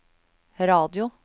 radio